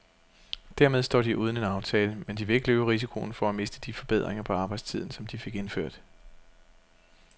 Dermed står de uden en aftale, men de vil ikke løbe risikoen for at miste de forbedringer på arbejdstiden, som de fik indført.